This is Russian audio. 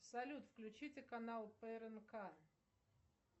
салют включите канал прнк